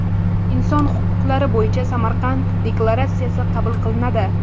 Inson huquqlari bo‘yicha Samarqand deklaratsiyasi qabul qilinadi.